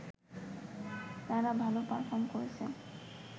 তারা ভাল পারফর্ম করেছে